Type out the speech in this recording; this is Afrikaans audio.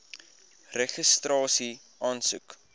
registrasieaansoek